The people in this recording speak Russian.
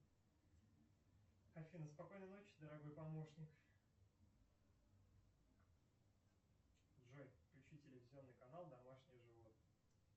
афина спокойной ночи дорогой помощник джой включи телевизионный канал домашние животные